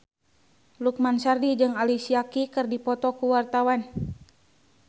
Lukman Sardi jeung Alicia Keys keur dipoto ku wartawan